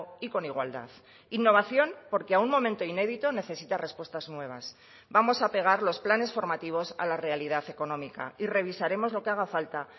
y con igualdad innovación porque a un momento inédito necesita respuestas nuevas vamos a pegar los planes formativos a la realidad económica y revisaremos lo que haga falta